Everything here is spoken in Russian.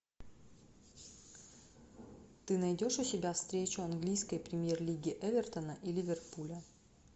ты найдешь у себя встречу английской премьер лиги эвертона и ливерпуля